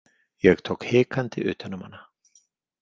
Ég tók hikandi utan um hana.